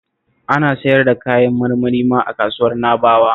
Ana siyar da kayan marmari ma a Kasuwar Na'bawa